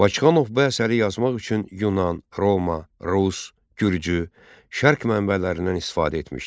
Bakıxanov bu əsəri yazmaq üçün Yunan, Roma, Rus, Gürcü, Şərq mənbələrindən istifadə etmişdir.